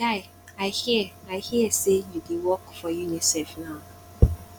my guy i hear i hear say you dey work for unicef now